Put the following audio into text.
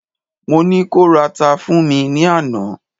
mo ni ko rara fún mi ni Ana